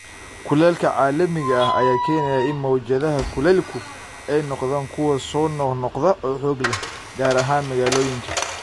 Kulaylka caalamiga ah ayaa keenaya in mowjadaha kulaylku ay noqdaan kuwo soo noqnoqda oo xoog leh, gaar ahaan magaalooyinka.